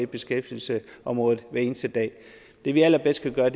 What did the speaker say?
beskæftigelsesområdet hver eneste dag det vi allerbedst kan gøre